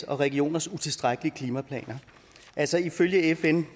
regioners utilstrækkelige klimaplaner altså ifølge fn